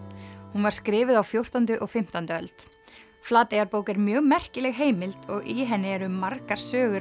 hún var skrifuð á fjórtándu og fimmtándu öld Flateyjarbók er mjög merkileg heimild og í henni eru margar sögur